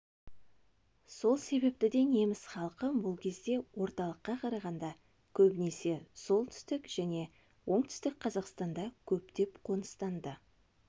сол себепті де неміс халқы бұл кезде орталыққа қарағанда көбінесе солтүстік және оңтүстік қазақстанда көптеп қоныстанды